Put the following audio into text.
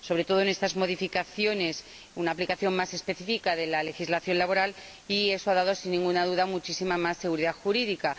sobre todo, con estas modificaciones se hace una aplicación más específica de la legislación laboral, lo que ha dado, sin ninguna duda, muchísima más seguridad jurídica.